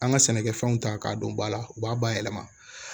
An ka sɛnɛkɛfɛnw ta k'a dɔn ba la u b'a bayɛlɛma